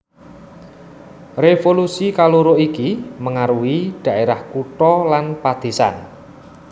Révolusi kaloro iki mengaruhi dhaérah kutha lan padésan